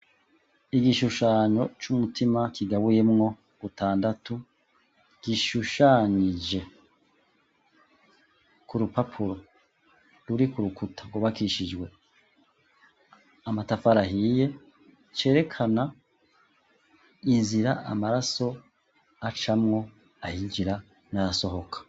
Igishushanyo c'umutima kigabuyemwo gatandatu gishushanyije ,ku rupapuro ruri ku rukuta rwubakishijwe amatafari ahiye cerekana inzira amaraso acamwo ayinjira n'ayas